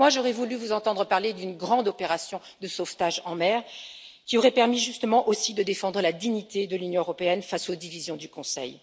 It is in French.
Personnellement, j'aurais voulu vous entendre parler d'une grande opération de sauvetage en mer, qui aurait permis justement aussi de défendre la dignité de l'Union européenne face aux divisions du Conseil.